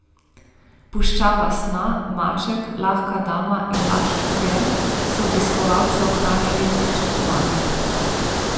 Puščava sna, Maček, Lahka dama in Laški pir so obiskovalce ohranjali v pričakovanju.